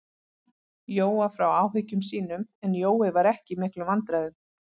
Jóa frá áhyggjum sínum, en Jói var ekki í miklum vandræðum.